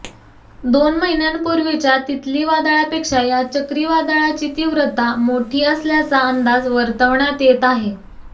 दोन महिन्यांपूर्वीच्या तितली वादळापेक्षा या चक्रीवादळाची तीव्रता मोठी असल्याचा अंदाज वर्तवण्यात येत आहे